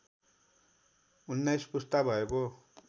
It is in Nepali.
१९ पुस्ता भएको